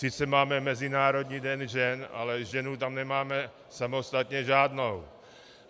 Sice máme Mezinárodní den žen, ale ženu tam nemáme samostatně žádnou.